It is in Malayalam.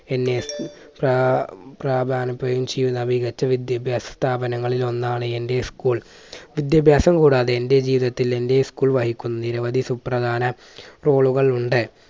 എന്നെ ചെയ്യുന്ന മികച്ച വിദ്യാഭ്യാസ സ്ഥാപനങ്ങളിൽ ഒന്നാണ് എൻറെ school വിദ്യാഭ്യാസം കൂടാതെ എൻറെ ജീവിതത്തിൽ എൻറെ school വഹിക്കുന്ന നിരവധി സുപ്രധാന role കൾ ഉണ്ട്.